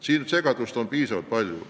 Siin on segadust üsna palju.